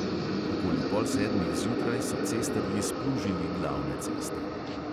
Okoli pol sedmih zjutraj so cestarji splužili glavne ceste.